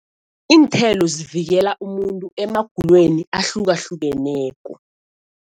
Iinthelo zivikela umuntu emagulweni ahlukahlukeneko.